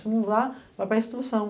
Se não dá, vai para a instituição.